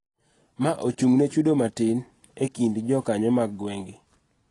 Ma ochung�ne chudo matin ekind jokanyo mag gwenge.